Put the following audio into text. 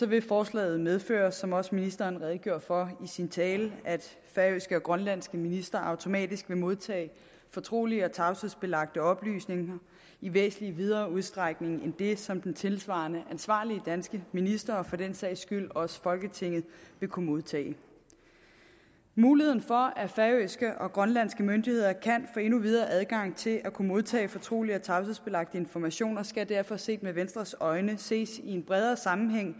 vil forslaget medføre som også ministeren redegjorde for i sin tale at færøske og grønlandske ministre automatisk vil modtage fortrolige og tavshedsbelagte oplysninger i væsentlig videre udstrækning end det som den tilsvarende ansvarlige danske minister og for den sags skyld også folketinget vil kunne modtage muligheden for at færøske og grønlandske myndigheder kan få endnu videre adgang til at kunne modtage fortrolige og tavshedsbelagte informationer skal derfor set med venstres øjne ses i en bredere sammenhæng